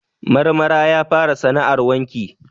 Marmara ya fara sana'ar wanki.